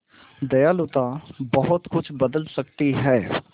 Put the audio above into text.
दयालुता बहुत कुछ बदल सकती है